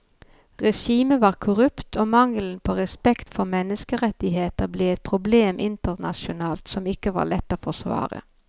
Regimet var korrupt og mangelen på respekt for menneskerettigheter ble et problem internasjonalt som ikke var lett å forsvare.